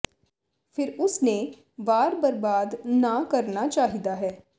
ਫਿਰ ਉਸ ਨੇ ਵਾਰ ਬਰਬਾਦ ਨਾ ਕਰਨਾ ਚਾਹੀਦਾ ਹੈ